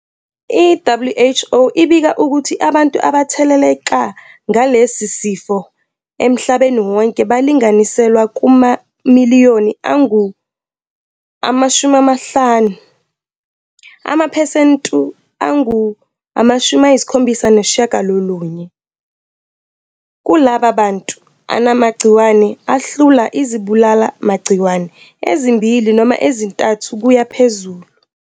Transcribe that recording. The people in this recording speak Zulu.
i-WHO ibika ukuthi abantu abatheleleka ngalesi sifo emahlabeni wonke balinganiselwa kumamiliyoni angu-50, amaphesentu angu-79 kulabo bantu anamagciwane ahlula izibulala magciwane ezimbili noma ezintathu kuyaphezulu.